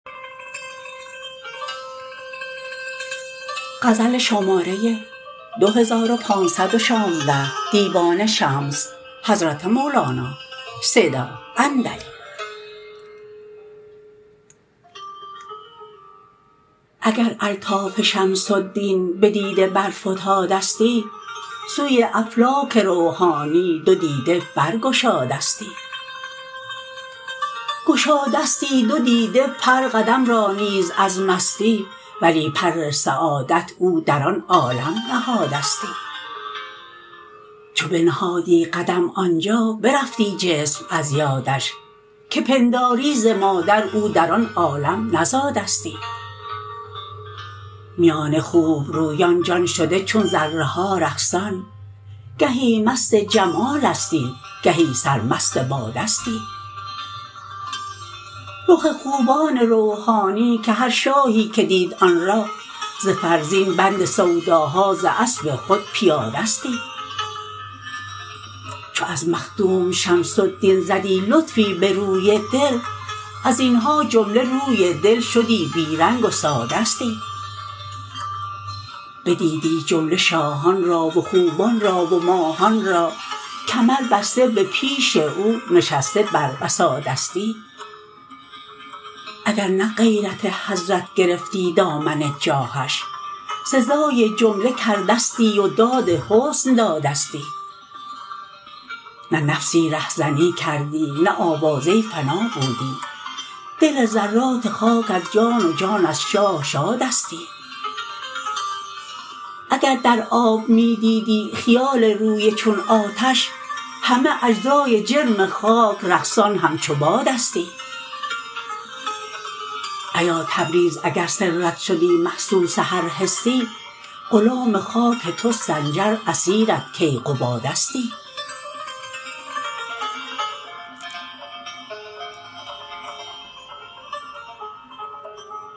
اگر الطاف شمس الدین بدیده برفتادستی سوی افلاک روحانی دو دیده برگشادستی گشادستی دو دیده پرقدم را نیز از مستی ولی پرسعادت او در آن عالم نزادستی چو بنهادی قدم آن جا برفتی جسم از یادش که پنداری ز مادر او در آن عالم نزادستی میان خوبرویان جان شده چون ذره ها رقصان گهی مست جمالستی گهی سرمست باده ستی رخ خوبان روحانی که هر شاهی که دید آن را ز فرزین بند سوداها ز اسب خود پیادستی چو از مخدوم شمس الدین زدی لطفی به روی دل از این ها جمله روی دل شدی بی رنگ و سادستی بدیدی جمله شاهان را و خوبان را و ماهان را کمربسته به پیش او نشسته بر وسادستی اگر نه غیرت حضرت گرفتی دامن جاهش سزای جمله کردستی و داد حسن دادستی نه نفسی رهزنی کردی نه آوازه فنا بودی دل ذرات خاک از جان و جان از شاه شادستی اگر در آب می دیدی خیال روی چون آتش همه اجزای جرم خاک رقصان همچو بادستی ایا تبریز اگر سرت شدی محسوس هر حسی غلام خاک تو سنجر اسیرت کیقبادستی